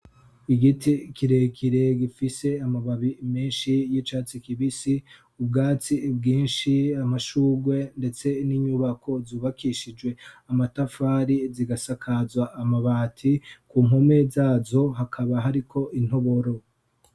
igiti kirekire gifise amababi menshi y'icatsi kibisi ubwatsi bwinshi amashugwe ndetse n'inyubako zubakishijwe amatafari zigasakazwa amabati ku mpumo zazo hakaba hariko intoboro